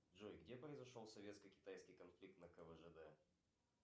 джой где произошел советско китайский конфликт на квжд